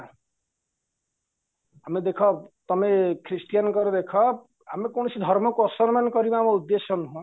ଆମେ ଦେଖ ତମେ ଖ୍ରୀଷ୍ଟିଆନଙ୍କର ଦେଖ ଆମେ କୌଣସି ଧର୍ମକୁ ଆସାନମାନ କରିବା ଆମର ଉଦେଶ୍ୟ ନୁହଁ